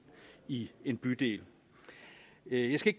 i en bydel jeg skal